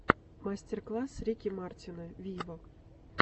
мастер класс рики мартина виво